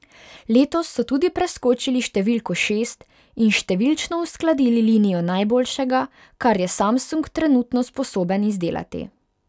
Letos so tudi preskočili številko šest in številčno uskladili linijo najboljšega, kar je Samsung trenutno sposoben izdelati.